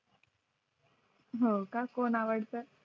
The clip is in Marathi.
हो का कोण आवडता